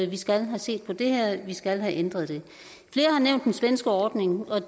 vi skal have set på det her at vi skal have ændret det flere har nævnt den svenske ordning og